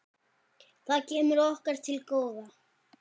Það kemur okkur til góða.